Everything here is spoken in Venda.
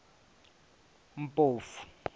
mpofu